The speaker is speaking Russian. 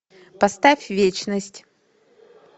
поставь вечность